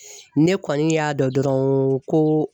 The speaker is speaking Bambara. Ne kɔni y'a dɔn dɔrɔn ko